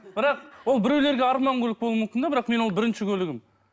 бірақ ол біреулерге арман көлік болуы мүмкін де бірақ менің ол бірінші көлігім